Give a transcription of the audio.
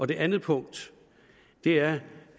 det andet punkt er